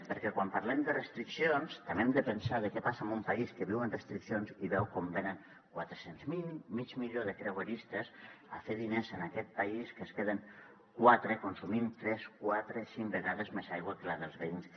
perquè quan parlem de restriccions també hem de pensar què passa en un país que viu en restriccions i veu com venen quatre cents miler mig milió de creueristes a fer diners en aquest país que es queden consumint tres quatre cinc vegades més aigua que la dels veïns